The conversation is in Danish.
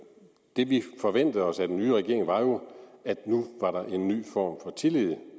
det vi forventede os af den nye regering var jo at der nu var en ny form for tillid